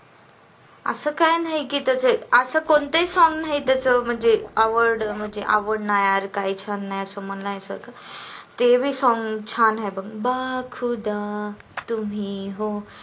आस काही नाही काही की त्याचे असे कोणतेही song नाही म्हणजे आवडणार काही छान नाही आस म्हणायच ते बी song छान आहे बघ ओ खुदा तुम्ही हो